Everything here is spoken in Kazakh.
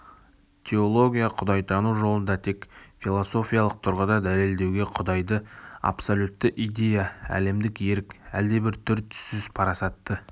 теология құдайтану жолында тек философиялық тұрғыда дәлелдеуге құдайды абсолютті идея әлемдік ерік әлдебір түр-түссіз парасатты